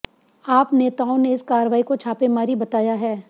आप नेताओं ने इस कार्रवाई को छापेमारी बताया है